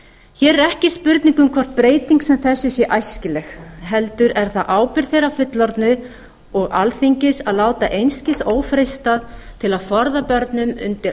hér er ekki spurning um hvort breyting sem þessi sé æskileg heldur er það ábyrgð þeirra fullorðnu og alþingis að láta einskis ófreistað til að forða börnum undir